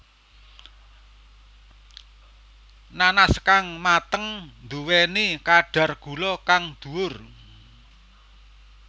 Nanas kang mateng nduwéni kadar gula kang dhuwur